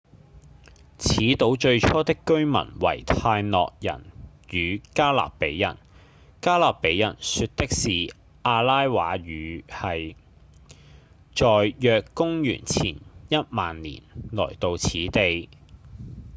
此島最初的居民為泰諾人與加勒比人加勒比人說的是阿拉瓦語系在約公元前一萬年來到此地